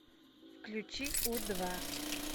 включи у два